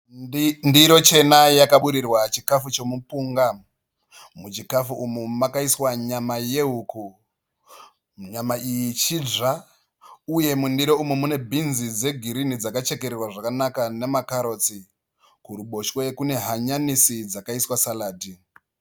Ndiro chena yakaburirwa chikafu chomupunga. Muchikafu umu makaiswa nyama yehuku. Nyama iyi chidzva uye mundiro umu mune bhinzi dzegirinhi dzakachekererwa zvakanaka namakarotsi. Kuruboshwe kune hanyanisi dzakaiswa saradhi.